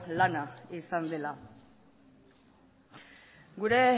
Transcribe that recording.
lana izan dela gure